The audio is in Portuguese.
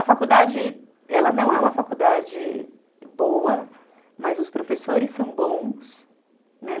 A faculdade, ela não é uma faculdade boa, mas os professores são bons, né?